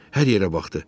Hər yerə baxdı.